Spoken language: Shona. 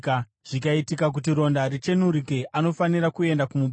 Zvikaitika kuti ronda richeneruke, anofanira kuenda kumuprista.